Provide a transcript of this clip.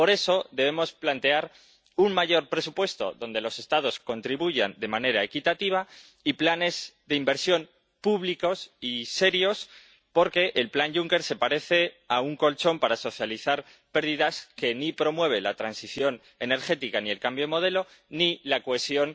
Por eso, debemos plantear un mayor presupuesto, al que los Estados contribuyan de manera equitativa, y planes de inversión públicos y serios, porque el plan Juncker se parece a un colchón para socializar pérdidas que ni promueve la transición energética, ni el cambio modelo, ni la cohesión